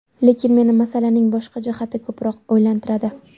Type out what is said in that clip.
Lekin meni masalaning boshqa jihati ko‘proq o‘ylantiradi.